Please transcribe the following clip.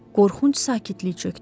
Qorxunc sakitlik çökdü.